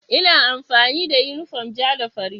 Ina amfani da yunifom ja da fari.